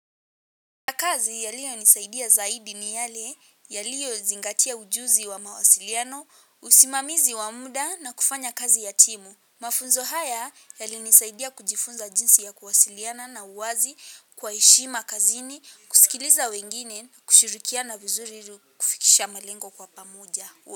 Kwa kazi yaliyonisaidia zaidi ni yale yaliyozingatia ujuzi wa mawasiliano, usimamizi wa muda na kufanya kazi yatimu. Mafunzo haya yalinisaidia kujifunza jinsi ya kuwasiliana na uwazi, kwa heshima kazini, kusikiliza wengine, kushirikiana vizuriru kufikisha malengo kwa pamoja.